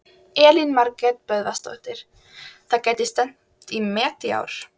Elín Margrét Böðvarsdóttir: Það gæti stefnt í met í ár?